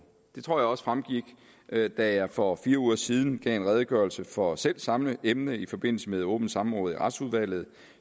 det tror jeg også fremgik da da jeg for fire uger siden gav en redegørelse for selv samme emne i forbindelse med et åbent samråd i retsudvalget